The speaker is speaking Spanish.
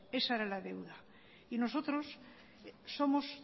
esa era la deuda y nosotros somos